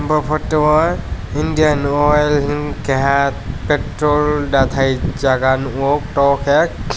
aw photo o Indian oil hing keha petrol datai jaaga nugo tor ke.